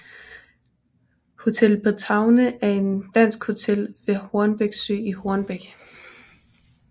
Hotel Bretagne er et dansk hotel ved Hornbæk Sø i Hornbæk